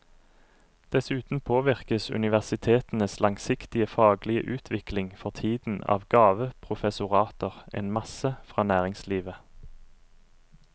Dessuten påvirkes universitetenes langsiktige faglige utvikling for tiden av gaveprofessorater en masse fra næringslivet.